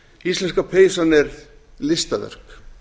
íslenska peysan er listaverk